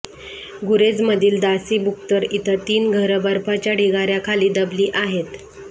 गुरेजमधील दासी बक्तुर इथं तीन घरं बर्फाच्या ढिगाऱ्याखाली दबली आहेत